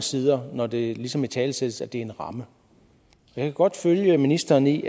sider når det ligesom italesættes at det er en ramme jeg kan godt følge ministeren i